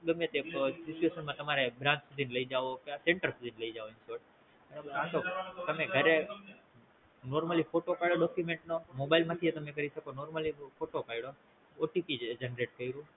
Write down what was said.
ગમે તે Situation માં તમારે branch સુધી લાય જવો કે Center સુધી લાય જવો કે તો તમે ઘરે normallyphoto પડી Document નો Mobile માં થી એ તમે કરી શકો Normally photo પયડો OTPGenerate કયૃ